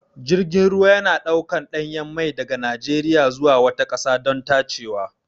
Jirgin ruwa na ɗaukan ɗanyen mai daga Najeriya zuwa wata ƙasa don tacewa.